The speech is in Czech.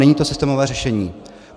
Není to systémové řešení.